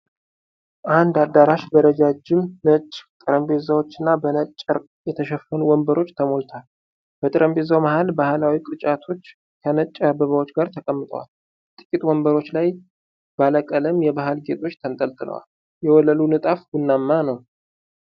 አንድ አዳራሽ በረጃጅም ነጭ ጠረጴዛዎችና በነጭ ጨርቅ የተሸፈኑ ወንበሮች ተሞልቷል። በጠረጴዛዎቹ መሃል ባህላዊ ቅርጫቶች ከነጭ አበባዎች ጋር ተቀምጠዋል። ጥቂት ወንበሮች ላይ ባለቀለም የባህል ጌጦች ተንጠልጥለዋል። የወለሉ ንጣፍ ቡናማ ነው።